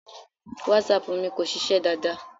WhatsApp mi kò ṣiṣẹ́ dáadáa.